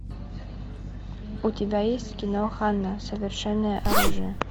у тебя есть кино ханна совершенное оружие